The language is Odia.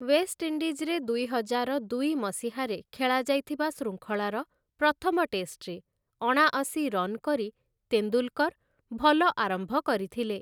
ୱେଷ୍ଟଇଣ୍ଡିଜ୍‌ରେ ଦୁଇହଜାର ଦୁଇ ମସିହାରେ ଖେଳାଯାଇଥିବା ଶୃଙ୍ଖଳାର ପ୍ରଥମ ଟେଷ୍ଟରେ ଅଣାଅଶି ରନ୍ କରି ତେନ୍ଦୁଲକର୍‌ ଭଲ ଆରମ୍ଭ କରିଥିଲେ ।